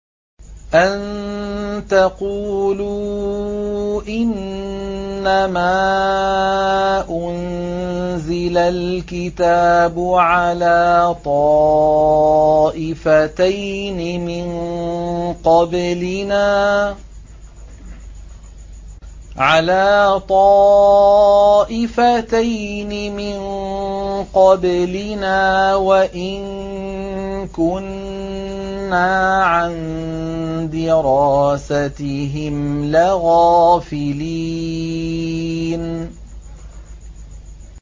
أَن تَقُولُوا إِنَّمَا أُنزِلَ الْكِتَابُ عَلَىٰ طَائِفَتَيْنِ مِن قَبْلِنَا وَإِن كُنَّا عَن دِرَاسَتِهِمْ لَغَافِلِينَ